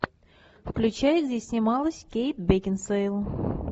включай где снималась кейт бекинсейл